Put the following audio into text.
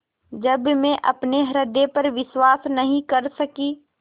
जब मैं अपने हृदय पर विश्वास नहीं कर सकी